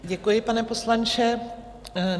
Děkuji, pane poslanče.